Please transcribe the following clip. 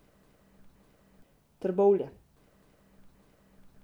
Trbovlje.